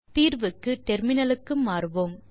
தீர்வுக்கு டெர்மினலுக்கு மாறுவோம்